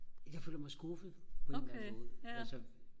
jeg føler mig skuffet på en eller anden måde altså